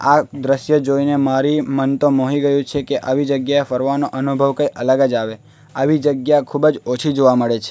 આ દ્રશ્ય જોઈને મારી મન તો મોહી ગયું છે કે આવી જગ્યા ફરવાનો અનુભવ કંઈ અલગ જ આવે આવી જગ્યા ખૂબ જ ઓછી જોવા મળે છે.